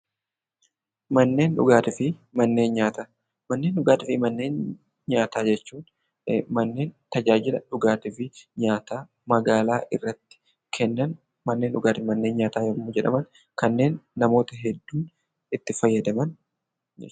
Manneen dhugaatii fi nyaata jechuun manneen tajaajila nyaataa fi dhugaatii magaalaa irratti Kennan manneen dhugaatii fi nyaataa yemmuu jedhaman kanneen namoonni hedduun itti fayyadaman jechuudha.